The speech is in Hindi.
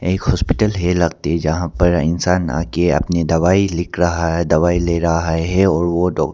एक हॉस्पिटल है लगती जहां पर इंसान आके अपनी दवाई लिख रहा है दवाई ले रहा है और वो डॉक--